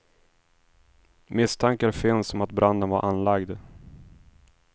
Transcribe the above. Misstankar finns om att branden var anlagd.